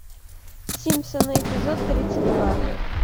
симпсоны эпизод тридцать два